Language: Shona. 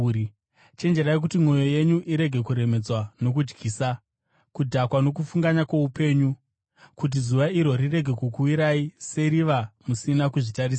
“Chenjerai, kuti mwoyo yenyu irege kuremedzwa nokudyisa, kudhakwa nokufunganya kwoupenyu, kuti zuva iro rirege kukuwirai seriva musina kuzvitarisira.